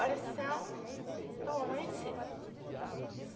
Oração do Amanhecer